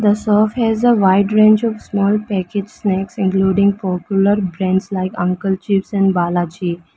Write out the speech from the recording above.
shop has a wide range of small packet snacks including popular brands like uncle chips and balaji.